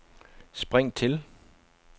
spring til